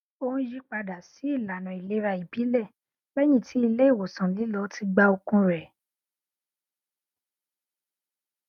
ó n yí padà sí ìlànà ìlera ìbílẹ lẹyìn tí ilé ìwòsàn lílọ ti gba okun rẹ